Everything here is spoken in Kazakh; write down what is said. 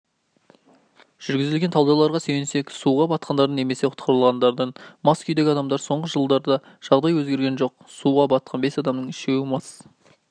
жүргізілген талдауларға сүйенсек суға батқандардың немесе құтқарылғандардың мас күйдегі адамдар соңғы жылдарда жағдай өзгерген жоқ суға батқан бес адамның үшеуі мас